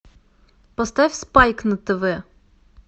поставь спайк на тв